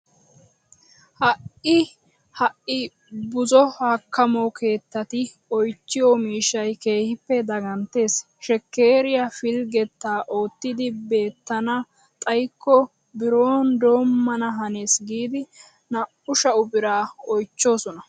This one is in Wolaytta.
Ha"i ha"i buzo hakkamo keettati oychchiyo miishshay keehippe daganttees. Shekkeeriya pilggettaa oottidi beettana xayikko biron doommana hanees giidi naa"u sha'u biraa oychchoosona.